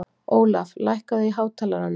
Ólaf, lækkaðu í hátalaranum.